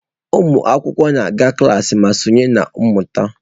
Ụmụ akwụkwọ na-aga klaasị ma sonye na mmụta.